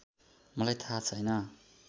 मलाई थाहा छैन